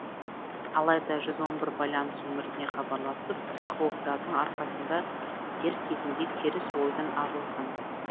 алайда жүз он бір байланыс нөміріне хабарласып психологтардың арқасында дер кезінде теріс ойынан арылған